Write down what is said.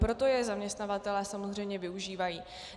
Proto je zaměstnavatelé samozřejmě využívají.